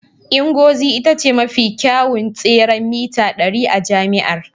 Ngozi ita ce mafi kyawun tseren mita ɗari a jami'ar